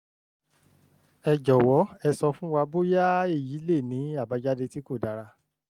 ẹ jọwọ ẹ sọ fún wa bóyáèyí lè ní àbájáde tí kò dára